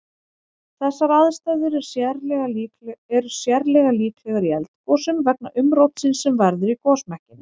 Þessar aðstæður er sérlega líklegar í eldgosum vegna umrótsins sem verður í gosmekkinum.